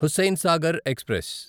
Hussain Sagar express